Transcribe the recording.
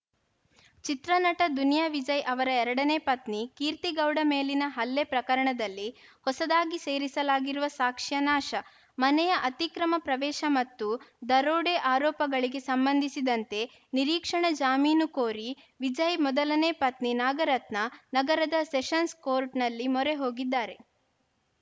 ಚಿತ್ರ ನಟ ದುನಿಯಾ ವಿಜಯ್‌ ಅವರ ಎರಡನೇ ಪತ್ನಿ ಕೀರ್ತಿಗೌಡ ಮೇಲಿನ ಹಲ್ಲೆ ಪ್ರಕರಣದಲ್ಲಿ ಹೊಸದಾಗಿ ಸೇರಿಸಲಾಗಿರುವ ಸಾಕ್ಷ್ಯ ನಾಶ ಮನೆಯ ಅತಿಕ್ರಮ ಪ್ರವೇಶ ಮತ್ತು ದರೋಡೆ ಆರೋಪಗಳಿಗೆ ಸಂಬಂಧಿಸಿದಂತೆ ನಿರೀಕ್ಷಣಾ ಜಾಮೀನು ಕೋರಿ ವಿಜಯ್‌ ಮೊದಲನೆ ಪತ್ನಿ ನಾಗರತ್ನ ನಗರದ ಸೆಷನ್ಸ್‌ ಕೋರ್ಟ್‌ನಲ್ಲಿ ಮೊರೆ ಹೋಗಿದ್ದಾರೆ